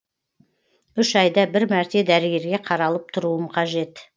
үш айда бір мәрте дәрігерге қаралып тұруым қажет